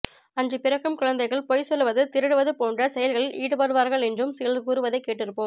அன்று பிறக்கும் குழந்தைகள் பொய் சொல்லுவது திருடுவது போன்ற செயல்களில் ஈடுபடுவார்கள் என்றும் சிலர் கூறுவதை கேட்டிருப்போம்